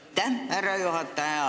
Aitäh, härra juhataja!